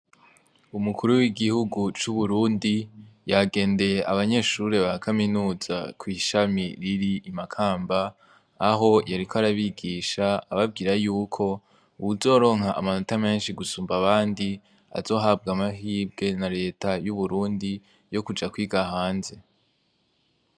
Umukuru w'igihugu c'Uburundi, yagendeye abanyeshure ba kaminuza kw'ishima riri i Makamba, aho yariko arabigisha ababwire yuko uwuzorpmka amanota menshi gusumba abandi azohanwa amahirwe na leta y'Uburundi yo kuja kwiga hanze.